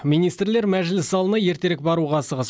министрлер мәжіліс залына ертерек баруға асығыс